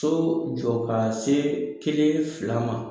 So jɔ ka se kelen fila ma.